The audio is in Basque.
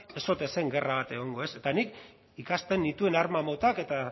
ez ote zen gerra bat egongo eta nik ikasten nituen arma motak eta